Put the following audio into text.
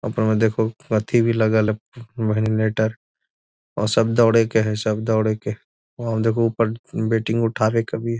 ऊपर में देखो थी भी लगल भिलटर और सब दौरे के हैं सब दौरे के और उठावे के भी |